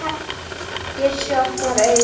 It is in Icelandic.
Bjössi opnar augun.